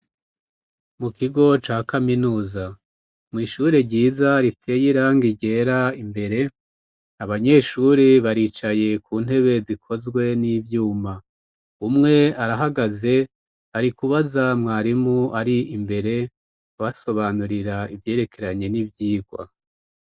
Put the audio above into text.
Mu kigo ca kaminuza mu ishure ryiza riteye irangi ryera imbere abanyeshure baricaye ku ntebe zikozwe n'ivyuma umwe arahagaze ari kubaza mwarimu ari imbere abasobanurira ivyerekeranye n'ivyigwa.